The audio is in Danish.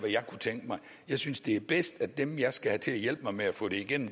jeg kunne tænke mig jeg synes det er bedst at dem jeg skal have til at hjælpe mig med at få det igennem